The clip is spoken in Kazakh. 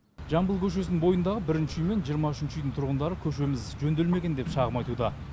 жамбыл көшесінің бойындағы бірінші үй мен жиырма үшінші үйдің тұрғындары көшеміз жөнделмеген деп шағым айтуда